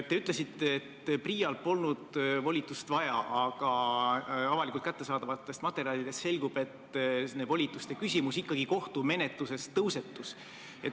Te ütlesite, et PRIA-l polnud volitust vaja, aga avalikult kättesaadavatest materjalidest selgub, et nende volituste küsimus ikkagi kohtumenetluses tõusetus.